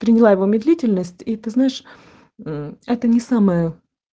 медлительность и ты знаешь это не самое